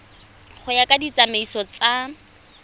go ya ka ditsamaiso tsa